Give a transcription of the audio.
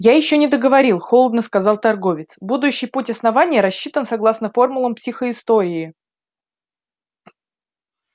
я ещё не договорил холодно сказал торговец будущий путь основания рассчитан согласно формулам психоистории